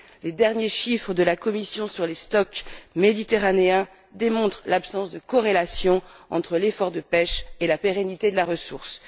Les derniers chiffres de la Commission sur les stocks méditerranéens démontrent l'absence de corrélation entre l'effort de pêche et la pérennité de la ressource.